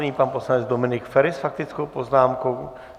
Nyní pan poslanec Dominik Feri s faktickou poznámkou.